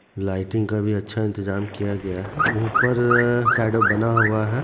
Lighting का भी अच्छा इंतजाम किया गया है ऊपर साइड बना हुआ है।